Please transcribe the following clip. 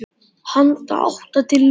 Handa átta til tíu